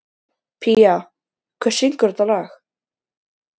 Pía, hver syngur þetta lag?